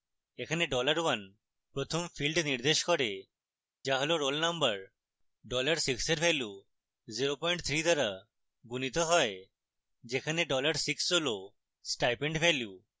এখানে dollar 1 প্রথম field নির্দেশ করে যা roll roll number